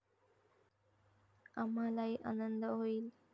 आम्हालाही आनंद होईल.